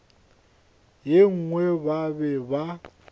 ye nngwe ba be ba